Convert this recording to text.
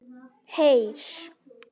Heyr!